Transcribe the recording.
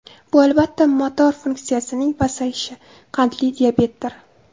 Bu albatta, motor funksiyasining pasayishi, qandli diabetdir.